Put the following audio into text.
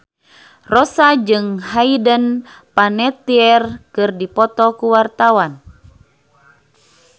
Rossa jeung Hayden Panettiere keur dipoto ku wartawan